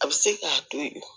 A bɛ se k'a to yen